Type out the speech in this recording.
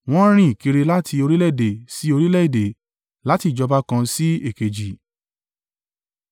wọ́n rìn kiri láti orílẹ̀-èdè sí orílẹ̀-èdè láti ìjọba kan sí èkejì.